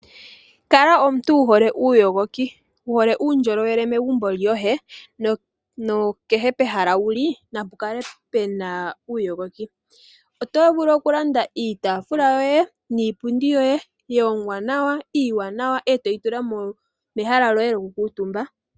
Kala omuntu wuhole uuyogoki, wuhole uundjolowele megumbo lyoye nokehe pehala wuli napukale pena uuyogoki. Oto vulu okulanda iitaafula yoye, niipundi yoye, ya hongwa nawa, iiwanawa, eto yi tula mehala lyoye lyoku kuutumba.